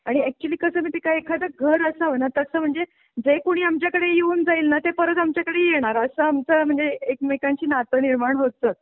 आणि अॅक्चूअली कसं माहिते का एखादा घर असाव ना तस म्हणजे जे कुणी आमच्याकडे येऊन जाईल ना ते परत आमच्याकडे येणार असं आमचं म्हणजे एकमेकांची नातं निर्माण होत जात